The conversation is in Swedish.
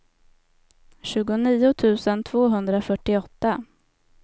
tjugonio tusen tvåhundrafyrtioåtta